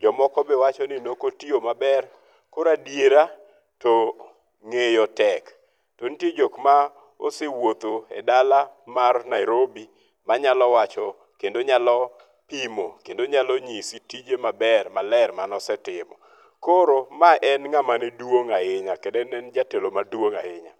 Jomoko be wacho ni ne ok otiyo maber. Koro adiera to ng'eyo tek. To nitie jok ma osewuotho e dala mar Nairobi manyalo wacho kendo nyalo pimo kendo nyalo nyisi tije maber maler mane osetimo. Koro ma en ng'ama ne duong' ahinya kendo ne en jatelo maduong' ahinya.